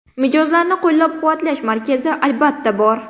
Mijozlarni qo‘llab-quvvatlash markazi albatta, bor.